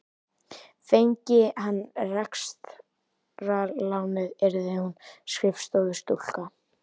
Fengi hann rekstrarlánið yrði hún skrifstofustúlka.